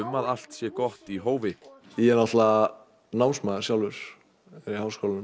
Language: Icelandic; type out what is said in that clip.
að allt sé gott í hófi ég er náttúrulega sjálfur er í háskólanum